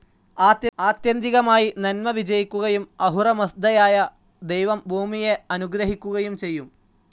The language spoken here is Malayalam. ആത്യന്തികമായി നന്മ വിജയിക്കുകയും അഹുറമസ്‌ദയായ ദൈവം ഭൂമിയെ അനുഗ്രഹിക്കുകയും ചെയ്യും.